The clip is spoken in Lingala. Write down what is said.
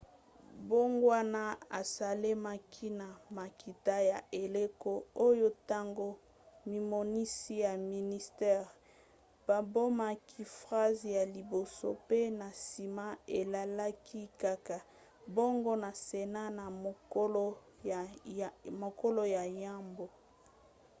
mbongwana esalemaki na makita ya eleko oyo ntango mimonisi ya ministere babomaki phrase ya liboso mpe na nsima elekaki kaka bongo na senat na mokolo ya yambo